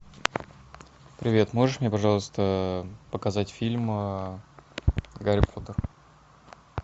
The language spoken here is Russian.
привет можешь мне пожалуйста показать фильм гарри поттер